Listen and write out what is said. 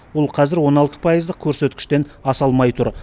ол қазір он алты пайыздық көрсеткіштен аса алмай тұр